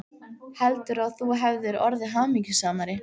Heldurðu, að þú hefðir orðið hamingjusamari?